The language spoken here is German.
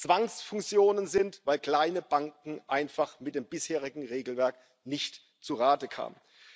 Zwangsfusionen sind, weil kleine Banken einfach mit dem bisherigen Regelwerk nicht zu Rande kamen.